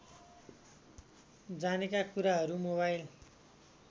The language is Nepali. जानेका कुराहरू मोबाइल